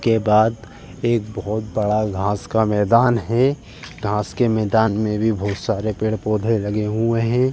के बाद एक बहुत बड़ा घास का मैंदान है घास के मैंदान में भी बहुत सारे पेड़-पौधे लगे हुए हैं।